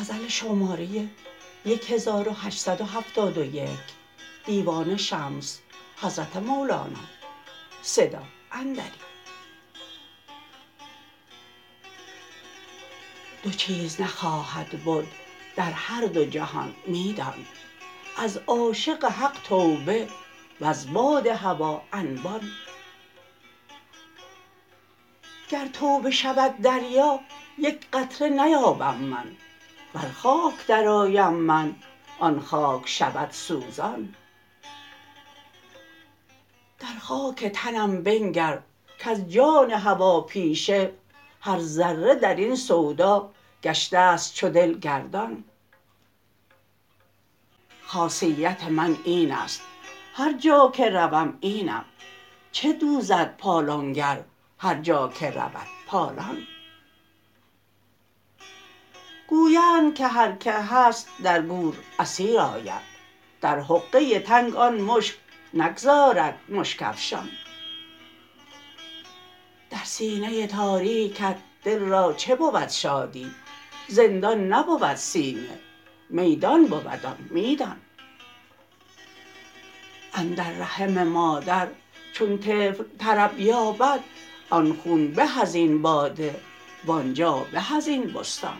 دو چیز نخواهد بد در هر دو جهان می دان از عاشق حق توبه وز باد هوا انبان گر توبه شود دریا یک قطره نیابم من ور خاک درآیم من آن خاک شود سوزان در خاک تنم بنگر کز جان هواپیشه هر ذره در این سودا گشته ست چو دل گردان خاصیت من این است هر جا که روم اینم چه دوزد پالان گر هر جا که رود پالان گویند که هر کی هست در گور اسیر آید در حقه تنگ آن مشک نگذارد مشک افشان در سینه تاریکت دل را چه بود شادی زندان نبود سینه میدان بود آن میدان اندر رحم مادر چون طفل طرب یابد آن خون به از این باده وان جا به از این بستان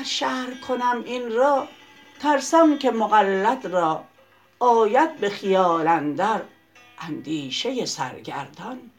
گر شرح کنم این را ترسم که مقلد را آید به خیال اندر اندیشه سرگردان